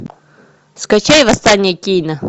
скачай восстание кейна